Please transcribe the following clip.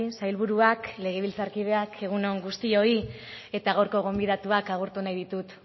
sailburuak legebiltzarkideak egun on guztioi eta gaurko gonbidatuak agurtu nahi ditut